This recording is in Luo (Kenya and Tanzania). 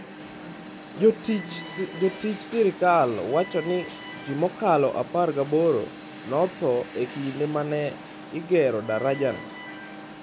Jotij sirkal wacho ni ji mokalo 18 notho e kinde ma ne igero darajano.